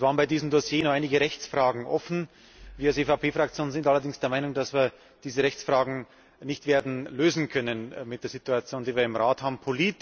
Es waren bei diesem Dossier noch einige Rechtsfragen offen. Wir als EVP Fraktion sind allerdings der Meinung, dass wir diese Rechtsfragen nicht werden lösen können angesichts der Situation, die wir im Rat haben.